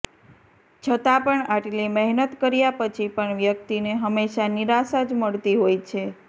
છતાં પણ આટલી મહેનત કર્યા પછી પણ વ્યક્તિને હંમેશા નિરાશા જ મળતી હોય છે